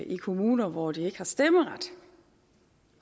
i kommuner hvor de ikke har stemmeret